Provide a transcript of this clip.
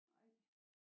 Nej